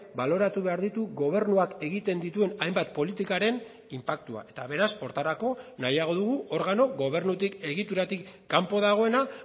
baloratu behar ditu gobernuak egiten dituen hainbat politikaren inpaktuak eta beraz horretarako nahiago dugu organo gobernutik egituratik kanpo dagoena